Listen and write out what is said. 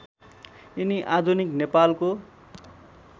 यिनी आधुनिक नेपालको